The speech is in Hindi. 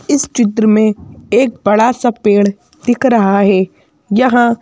इस चित्र में एक बड़ा सा पेड़ दिख रहा है यहाँ--